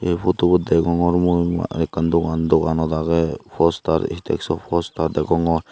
ey potubot degongor mui ekkan dogan doganot agey ekkan postar stag so postar degongor.